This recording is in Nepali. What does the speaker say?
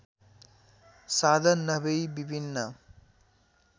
साधन नभई विभिन्न